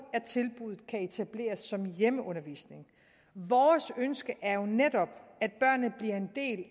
at tilbuddet kan etableres som hjemmeundervisning vores ønske er jo netop